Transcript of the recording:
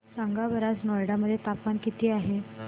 सांगा बरं आज नोएडा मध्ये तापमान किती आहे